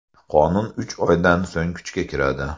Qonun uch oydan so‘ng kuchga kiradi.